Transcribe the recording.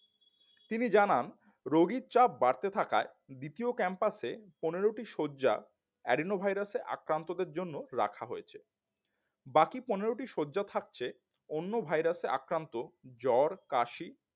তিনি জানান রোগীর চাপ বাড়তে থাকায় দ্বিতীয় ক্যাম্পাসে পনেরোটি শয্যা Adenoviruses আক্রান্তদের জন্য রাখা হয়েছে বাকি পনেরোটি শয্যা থাকছে অন্য ভাইরাসে আক্রান্ত জ্বর কাশি